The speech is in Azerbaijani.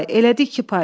Elədi iki pay.